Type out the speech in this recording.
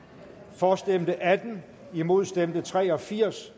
for stemte atten imod stemte tre og firs